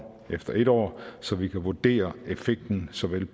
efter et år så vi kan vurdere effekten såvel